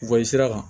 Bɔ sira kan